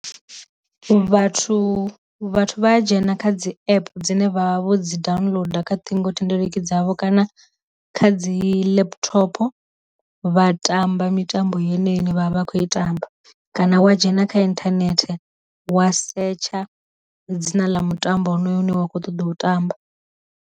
Vathu vhathu vha ya dzhena kha dzi app dzine vha vha vho dzi downloader kha ṱhingothendeleki dzavho kana kha dzi laptopo, vha tamba mitambo yeneyi ine vhavha vha khou i tamba, kana wa dzhena kha inthanethe wa setsha dzina ḽa mutambo wo no yo hune wa kho ṱoḓa u tamba.